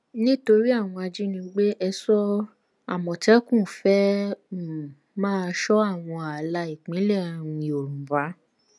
nítorí àwọn ajínigbé èso àmọtẹkùn fẹẹ um máa sọ àwọn ààlà ìpínlẹ um yorùbá